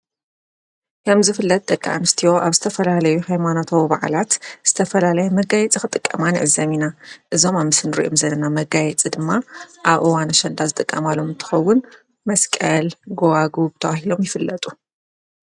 ከምዝፍለጥ ደቂ ኣንስትዮ ኣብ ዝተፈላለዩ ኃይማኖታዊ ባዕላት ዝተፈላለይ መጋይፂ ኽጥቀማ ንዕዘብ ኢና። እዞም ኣብ ምስሊ እንርእዮም ዘለና መጋይጽ ድማ ኣብ እዋን ኣሽንዳ ዝጠቃማሎም እንትኸውን መስቀል ጐዋጕብ ተባሂሎም ይፍለጡ።